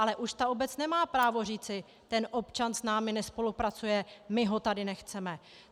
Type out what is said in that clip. Ale už ta obec nemá právo říci: ten občan s námi nespolupracujeme, my ho tady nechceme.